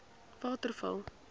waterval